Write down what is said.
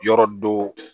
Yɔrɔ dɔ